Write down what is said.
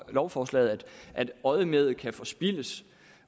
lovforslaget at øjemedet kan forspildes